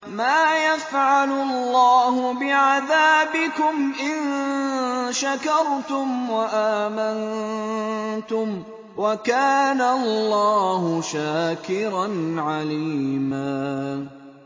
مَّا يَفْعَلُ اللَّهُ بِعَذَابِكُمْ إِن شَكَرْتُمْ وَآمَنتُمْ ۚ وَكَانَ اللَّهُ شَاكِرًا عَلِيمًا